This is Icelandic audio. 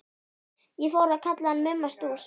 Ég fór að kalla hann Mumma Stúss.